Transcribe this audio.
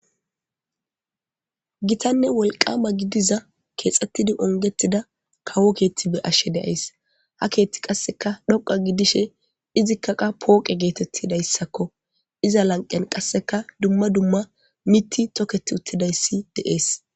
gitanne wolqama gidiza keexxettidi ongettida kawo keetti be ashshe deyays ha keethti qasseka dhoqa gidishe izikkaqa pooqe geetettidayssakko iza lanqen qasseka dumma dumma miti toketi uttidayssi deees